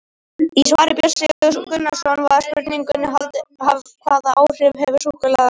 Í svari Björns Sigurðar Gunnarssonar við spurningunni Hvaða áhrif hefur súkkulaði á líkamann?